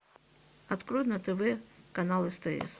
открой на тв канал стс